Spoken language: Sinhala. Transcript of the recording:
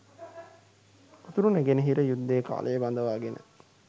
උතුරු නැගෙනහිර යුද්ධය කාලේ බඳවාගෙන